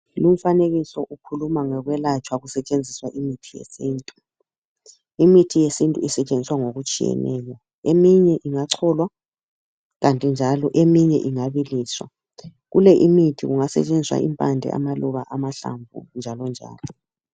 Lumfanekiso ukhuluma ngokwelatshwa kusetshenziswa imithi yesintu. Imithi yesintu isetshenziswa ngokutshiyeneyo. Eminye ingacholwa, kanti njalo eminye ingabiliswa. Kule imithi kungasetshenziswa impande, amaluba, amahlamvu, njalo njalo.